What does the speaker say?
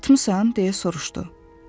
Yatmısan, deyə soruşdu.